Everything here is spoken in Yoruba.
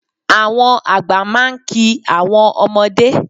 Àwọn àgbà máa ń ki àwọn ọmọdé